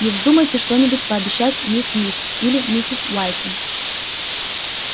не вздумайте что-нибудь пообещать мисс мид или миссис уайтин